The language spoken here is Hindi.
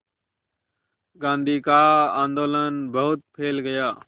गांधी का आंदोलन बहुत फैल गया